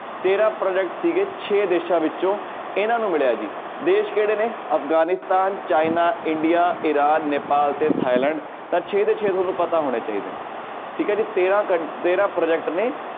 ਤੇਰਾਂ project ਸੀਗੇ ਛੇ ਦੇਸਾਂ ਵਿੱਚੋਂ ਇਹਨਾਂ ਨੂੰ ਮਿਲਿਆ ਜੀ ਦੇਸ ਕਿਹੜੇ ਨੇ Afghanistan, China, India, Iran, Nepal ਤੇ ਥਾਈਲੈਂਡ ਤਾਂ ਛੇ ਦੇ ਛੇ ਤੁਹਾਨੂੰ ਪਤਾ ਹੋਣੇ ਚਹੀਦੇ ਨੇ ਠੀਕ ਹੈ ਜੀ ਤੇਰਾਂ ਕੰ~ ਤੇਰਾਂ project ਨੇ